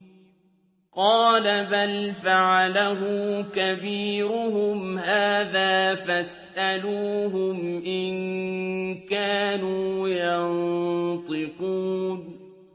قَالَ بَلْ فَعَلَهُ كَبِيرُهُمْ هَٰذَا فَاسْأَلُوهُمْ إِن كَانُوا يَنطِقُونَ